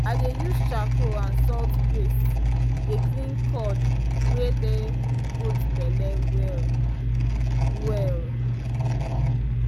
i dey use charcoal and salt paste dey clean cord wey dey goat belle well-well.